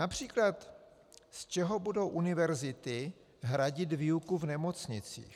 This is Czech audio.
Například z čeho budou univerzity hradit výuku v nemocnicích?